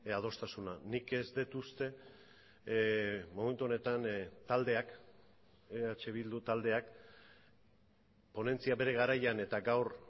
adostasuna nik ez dut uste momentu honetan taldeak eh bildu taldeak ponentzia bere garaian eta gaur